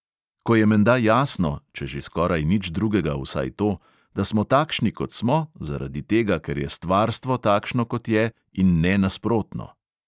Ko je menda jasno (če že skoraj nič drugega, vsaj to), da smo takšni, kot smo, zaradi tega, ker je stvarstvo takšno, kot je, in ne nasprotno.